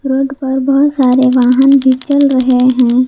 Road पर बहुत सारे वाहन भी चल रहे हैं।